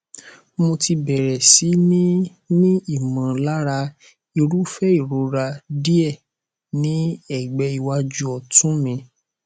mo ti bẹrẹ sí ní ní ìmọlára irúfẹ ìrora díẹ ní ẹgbẹ iwájú ọtún mi